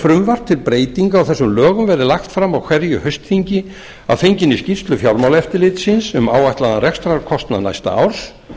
frumvarp til breytinga á þessum lögum verið lagt fram á hverju haustþingi að fenginni skýrslu fjármálaeftirlitsins um áætlaðan rekstrarkostnað næsta árs